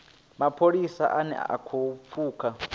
mapholisa ane a khou pfuka